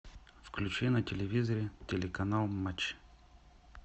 включи на телевизоре телеканал матч